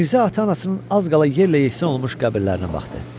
Mirzə ata-anasının az qala yerlə-yeksən olmuş qəbirlərinə baxdı.